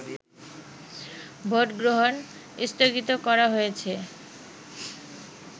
ভোটগ্রহণ স্থগিত করা হয়েছে